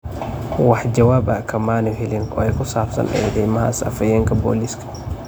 Wax jawaab ah kamaanu helin oo kusabsan eedaymahaas afhayeenka booliiska.